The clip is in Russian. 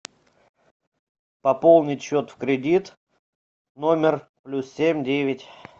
пополнить счет в кредит номер плюс семь девять